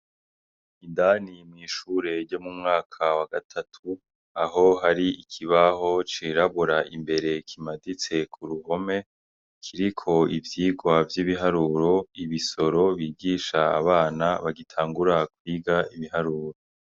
Indani mw'ishure ryo mu mwaka wa gatatu aho hari ikibaho cirabura imbere kimaditse ku ruhome kiriko ivyigwa vy'ibiharuro ibisoro bigisha abana bagitangura kwiga ibiharuro.